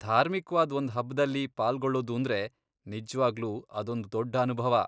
ಧಾರ್ಮಿಕ್ವಾದ್ ಒಂದ್ ಹಬ್ದಲ್ಲಿ ಪಾಲ್ಗೊಳ್ಳೋದೂಂದ್ರೆ ನಿಜ್ವಾಗ್ಲೂ ಅದೊಂದ್ ದೊಡ್ಡ್ ಅನುಭವ.